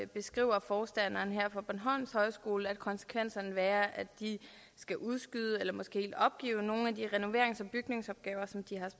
beskriver forstanderen her på bornholms højskole at konsekvensen vil være at de skal udskyde eller måske helt opgive nogle af de renoverings og bygningsopgaver som de